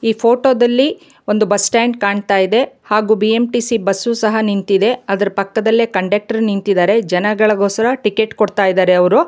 ಈ ಫೋಟೋ ದಲ್ಲಿ ಒಂದು ಬಸ್ ಸ್ಟಾಂಡ್ ಕಾಣ್ತಾ ಇದೆ ಹಾಗು ಬಿ_ಎಂ_ಟಿ_ಸಿ ಬಸ್ಸು ಸಹ ನಿಂತಿದೆ ಅದರ ಪಕ್ಕದಲ್ಲೇ ಕಂಡಕ್ಟರ್ ನಿಂತಿದಾರೆ ಜನಗಳಿಗೋಸ್ಕರ ಟಿಕೆಟ್ ಕೊಡ್ತಾ ಇದಾರೆ ಅವ್ರು.